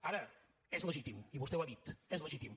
ara és legítim i vostè ho ha dit és legítim